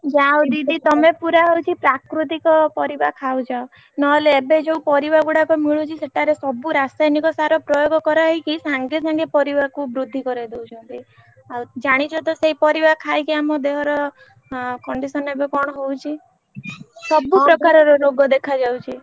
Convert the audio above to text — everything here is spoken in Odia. ଯାହା ହଉ ଦିଦି ତମେ ପୁରା ହଉଛି ପ୍ରାକୁତିକ ପରିବା ଖାଉଛ ନହେଲେ ଏବେ ଯୋଉ ପରିବା ଗୁଡାକ ମିଳୁଛି ସେଟାରେ ସବୁ ରାସାୟନିକ ସାର ପ୍ରୟୋଗ କରାହେଇକି ସାଙ୍ଗେ ସାଙ୍ଗେ ପରିବା କୁ ବୃଦ୍ଧି କରେଇ ଦଉଛନ୍ତି ଜାଣିଛ ତ ସେଇ ପରିବା ଖାଇକି ଆମ ଦେହ ର condition ଏବେ କଣ ହଉଛି ସବୁ ପ୍ରକାରର ରୋଗ ଦେଖା ଯାଉଛି।